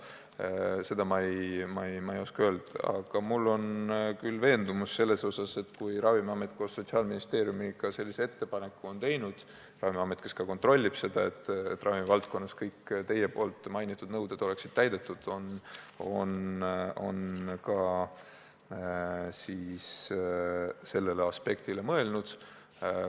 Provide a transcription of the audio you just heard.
Seda ma ei oska öelda, aga ma olen küll veendunud, et kui Ravimiamet koos Sotsiaalministeeriumiga sellise ettepaneku on teinud – Ravimiamet vist ka kontrollib seda, et ravimivaldkonnas oleks kõik mainitud nõuded täidetud –, siis nad on ka sellele aspektile mõelnud.